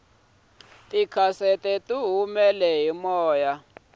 tikhasete tihumele hi moya